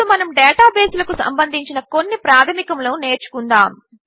ఇప్పుడు మనము డేటాబేసులకు సంబంధించిన కొన్ని ప్రాధమికములు నేర్చుకుందాము